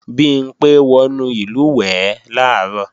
Bimpé wọnú ìlùwẹ̀ẹ̀ làárọ̀